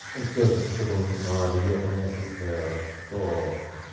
и всё это с учётом рельефа местности что